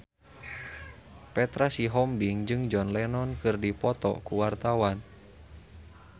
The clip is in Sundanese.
Petra Sihombing jeung John Lennon keur dipoto ku wartawan